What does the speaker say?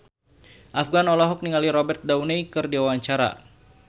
Afgan olohok ningali Robert Downey keur diwawancara